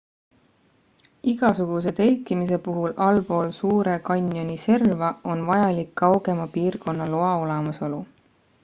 igasuguse telkimise puhul allpool suure kanjoni serva on vajalik kaugema piirkonna loa olemasolu